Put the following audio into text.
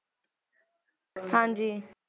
ਹਾਂਜੀ